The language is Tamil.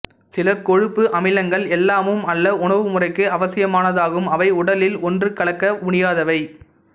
சில கொழுப்பு அமிலங்கள் எல்லாமும் அல்ல உணவுமுறைக்கு அவசியமானதாகும் அவை உடலில் ஒன்றுகலக்க முடியாதவை